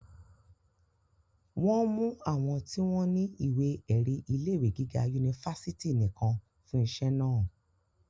wọ́n mú àwọn tí wọ́n ní ìwé-ẹ̀rí ilé ìwé gíga unifásitì nìkan fún iṣẹ́ náà